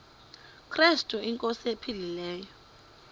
krestu inkosi ephilileyo